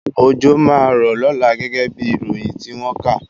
Òjò máa rọ̀ lọ́la gẹ́gẹ́ bí ìròyìn tí wọ́n kà